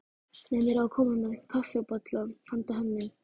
Nennirðu að koma með kaffibolla handa henni